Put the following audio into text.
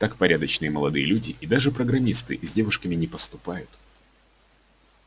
так порядочные молодые люди и даже программисты с девушками не поступают